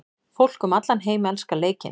Fólk um allan heim elskar leikinn.